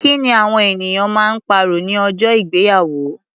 Kí ni awọn eniyan ma ń pàrọ̀ ní ọjọ́ ìgbéyàwó?